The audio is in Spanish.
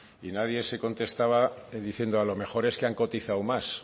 y nadie se contestaba diciendo a lo mejor es que han cotizado más